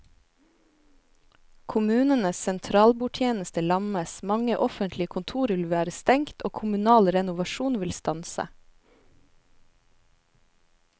Kommunenes sentralbordtjeneste lammes, mange offentlige kontorer vil være stengt og kommunal renovasjon vil stanse.